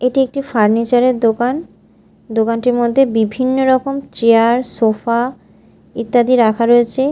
এটি একটি ফার্নিচার -এর দোকান দোকানটির মধ্যে বিভিন্ন রকম চেয়ার সোফা ইত্যাদি রাখা রয়েছে।